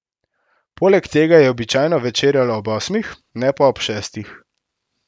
Poleg tega je običajno večerjal ob osmih, ne pa ob šestih.